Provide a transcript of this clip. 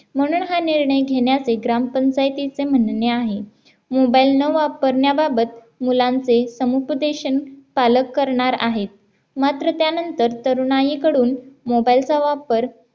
म्हणून हा निर्णय घेण्याचे ग्रामपंचायतीचे म्हणणे आहे mobile न वापरण्याबाबत मुलांचे समुपदेशन पालक करणार आहेत मात्र त्यानंतर तरुणाईकडून mobile चा वापर